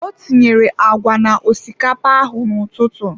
Ọ tinyere agwa na osikapa ahụ n'ụtụtụ.